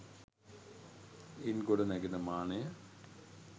ඉන් ගොඩ නැගෙන මානය